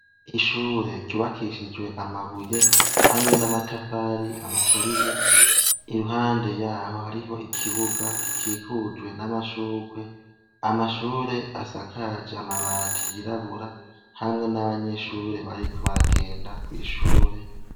Ishure ryubakishijwe amabuye hamwe n'amatafari aturiye, impande yaho hariho ikibuga gikikujwe n'amashugwe, amashure asakaje amabati yirabura hamwe n'abanyeshure bariko baragenda kw'ishure.